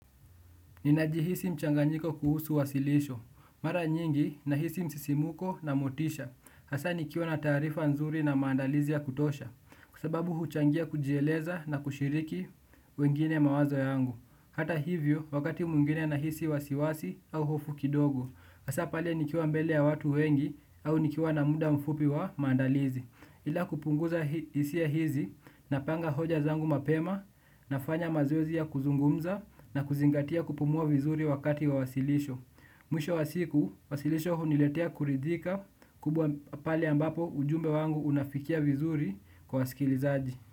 Ninajihisi mchanganyiko kuhusu wasilisho. Mara nyingi nahisi msisimuko na motisha. Hasa nikiwa na taarifa nzuri na maandalizi ya kutosha. Kwa sababu huchangia kujieleza na kushiriki wengine mawazo yangu. Hata hivyo wakati mwingine nahisi wasiwasi au hofu kidogo. Hasa pale nikiwa mbele ya watu wengi au nikiwa na muda mfupi wa maandalizi. Ila kupunguza hisia hizi, napanga hoja zangu mapema, nafanya mazoezi ya kuzungumza na kuzingatia kupumua vizuri wakati wa wasilisho. Mwisho wa siku, wasilisho huniletea kuridhika kubwa pale ambapo ujumbe wangu unafikia vizuri kwa wasikilizaji.